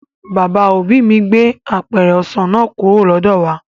Bàbá òbí mi gbé apẹ̀rẹ̀ ọsàn náà kúrò lọ́dọ̀ wà